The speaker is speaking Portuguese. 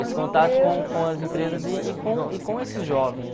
Esse contato com com as empresas e e com e com esses jovens.